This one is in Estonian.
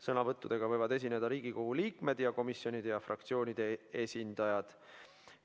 Sõnavõttudega võivad esineda Riigikogu liikmed ning komisjonide ja fraktsioonide esindajad.